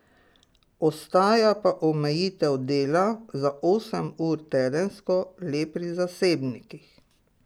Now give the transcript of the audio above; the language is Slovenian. Ostaja pa omejitev dela za osem ur tedensko le pri zasebnikih.